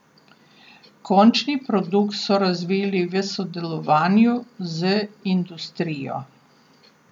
Končni produkt so razvili v sodelovanju z industrijo.